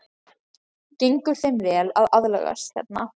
Gengur þeim vel að aðlagast hérna?